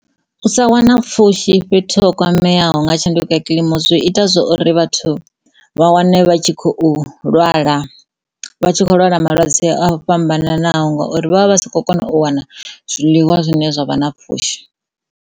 U sa wana pfhushi fhethu ho kwameaho nga tshanduko ya kiḽimu zwi ita zwori vhathu ha wane vha tshi khou lwala vha tshi khou lwala malwadze o fhambananaho ngauri vha vha si kho kona u wana zwiḽiwa zwine zwa vha na pfhushi.